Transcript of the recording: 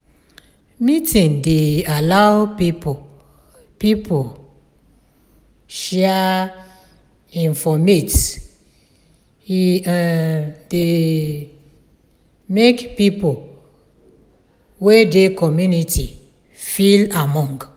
meeting dey allow pipo pipo um share informate e um dey um make pipo wey dey community feel among